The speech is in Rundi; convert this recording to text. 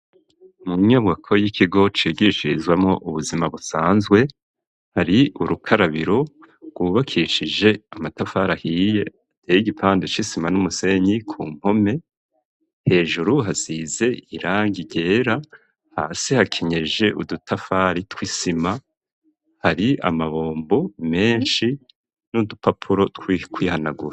mu nyubwako y'ikigo cigishirizamwo ubuzima busanzwe hari urukarabiro rwubakishije amatafari ahiye ateye igipande c'isima n'umusenyi ku mpome, hejuru hazize irangi ryera hasi hakenyeje udutafari tw'isima hari amabombo menshi n'udupapuro two kwihanagura.